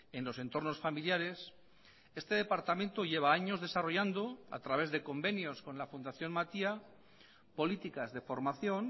en los entornos familiares este departamento lleva años desarrollando a través de convenios con la fundación matia políticas de formación